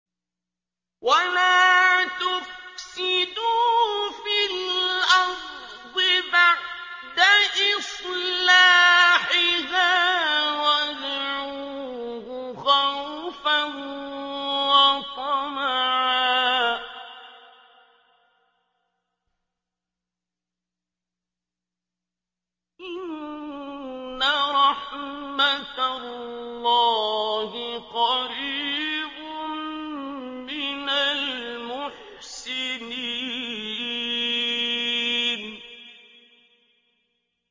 وَلَا تُفْسِدُوا فِي الْأَرْضِ بَعْدَ إِصْلَاحِهَا وَادْعُوهُ خَوْفًا وَطَمَعًا ۚ إِنَّ رَحْمَتَ اللَّهِ قَرِيبٌ مِّنَ الْمُحْسِنِينَ